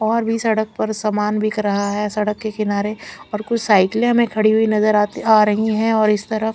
और वि सड़क पर सामान बिख रहा है सड़क के किनारे और कुछ साइकिले हमे खड़ी हुई नजर आ रही है और इस तरफ--